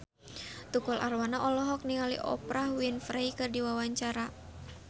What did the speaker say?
Tukul Arwana olohok ningali Oprah Winfrey keur diwawancara